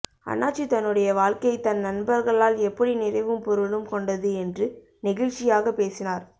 அண்ணாச்சி தன்னுடைய வாழ்க்கை தன் நண்பர்களால் எப்படி நிறைவும் பொருளும் கொண்டது என்று நெகிழ்ச்சியாகப் பேசினார்